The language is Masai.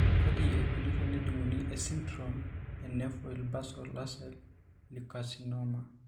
Kaji eikoni tenejung'uni esindirom eNevoid basal ocell lecarcinom?